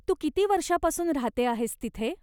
तू किती वर्षापासून राहते आहेस तिथे?